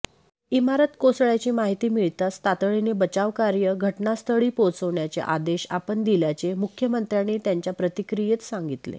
इमारत कोसळ्याची माहिती मिळताच तातडीने बचावकार्य घटनास्थळी पोहोचवण्याचे आदेश आपण दिल्याचे मुख्यमंत्र्यांनी त्यांच्या प्रतिक्रियेत सांगितले